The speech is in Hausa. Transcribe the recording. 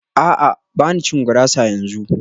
A'a ba na cin gurasa yanzu